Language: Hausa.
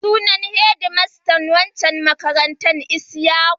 Sunan hedmastan waccan makarantar Isyaku.